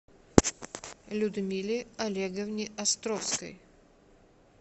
людмиле олеговне островской